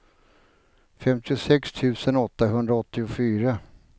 femtiosex tusen åttahundraåttiofyra